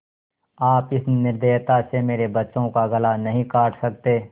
आप इस निर्दयता से मेरे बच्चों का गला नहीं काट सकते